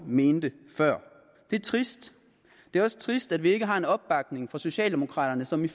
mente før det er trist det er også trist at vi ikke har en opbakning fra socialdemokraterne som i